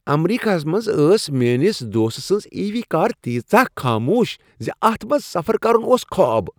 امریکہس منز ٲس میٲنس دوست سٕنز عی وی کار تیژاہ خاموش زِ اتَھ منٛز سفر کرن اوس خواب